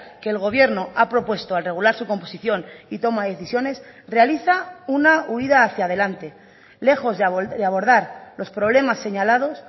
que el gobierno ha propuesto al regular su composición y toma de decisiones realiza una huida hacia adelante lejos de abordar los problemas señalados